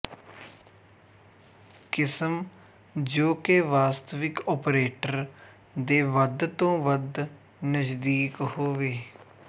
ਕਿਸਮ ਜੋ ਕਿ ਵਾਸਤਵਿਕ ਓਪਰੇਟਰ ਦੇ ਵੱਧ ਤੋ ਵੱਧ ਨਜ਼ਦੀਕ ਹੋਵੇ